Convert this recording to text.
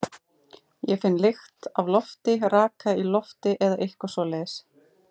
Ég finn lykt af lofti, raka í lofti eða eitthvað svoleiðis.